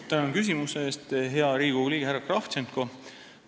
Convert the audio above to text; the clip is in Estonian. Tänan küsimuse eest, hea Riigikogu liige härra Kravtšenko!